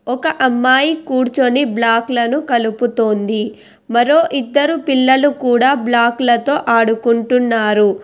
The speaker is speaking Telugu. ఒక అమ్మాయి కూర్చుని బ్లాక్ లను కలుపుతోంది మరో ఇద్దరు పిల్లలు కూడా బ్లాక్ లతో ఆడుకుంటున్నారు